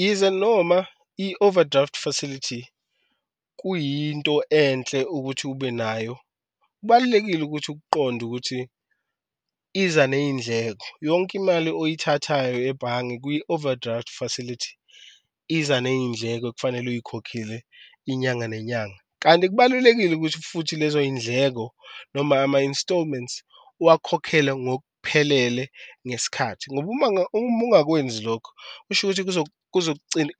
Yize noma i-overdraft facility kuyinto enhle ukuthi ube nayo, kubalulekile ukuthi ukuqonde ukuthi iza neyindleko yonke imali oyithathayo ebhange kwi-overdraft facility iza neyindleko okufanele uyikhokhele inyanga nenyanga. Kanti kubalulekile ukuthi futhi lezo yindleko noma ama-instalments uwakhokhele ngokuphelele ngesikhathi ngoba uma uma engakwenzi lokho kusho ukuthi